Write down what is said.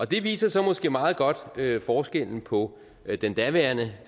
det viser så måske meget godt forskellen på den daværende